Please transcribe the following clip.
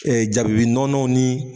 Ɛ jabibi nɔnɔ ni